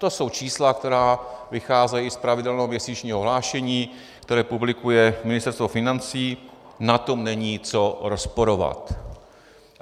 To jsou čísla, která vycházejí z pravidelného měsíčního hlášení, které publikuje Ministerstvo financí, na tom není co rozporovat.